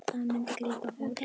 Það myndi grípa fólk.